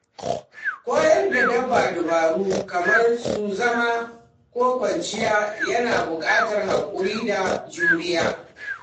Koyar da dabba dabaru kamar su zama ko kwanciya yana buƙatar hakuri da juriya.